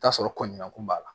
T'a sɔrɔ kɔnɲɔgɔn b'a la